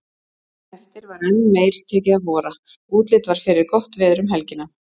Daginn eftir var enn meir tekið að vora, útlit var fyrir gott veður um helgina.